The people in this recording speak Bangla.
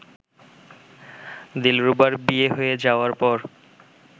দিলরুবার বিয়ে হয়ে যাওয়ার পর